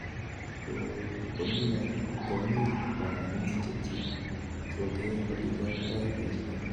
kipsomaninik chekerei olekiyoitoi boisyoni